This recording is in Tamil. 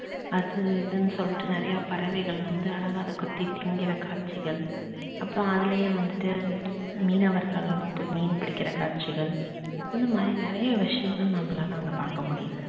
அது இதுன்னு சொல்லிட்டு நிறையா பறவைகள் வந்து அழகா அத கொத்தி திங்கிற காட்சிகள், அப்புறம் அதிலேயே வந்துட்டு மீனவர்களும் போய் மீன் பிடிக்கிற காட்சிகள் இந்த மாதிரி நிறையா விஷயங்கள் நம்மளால அங்க பாக்க முடியிது